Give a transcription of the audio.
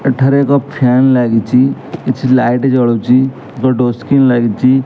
ଏଠାରେ ଏକ ଫ୍ୟାନ ଲାଗିଚି । କିଛି ଲାଇଟ୍ ଜଳୁଚି । ଏକ ଡୋର ସ୍କ୍ରିନ୍ ଲାଗିଚି ।